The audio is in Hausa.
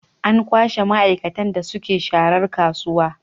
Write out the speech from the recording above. An kwashe maaikatan da ke sharar kasuwa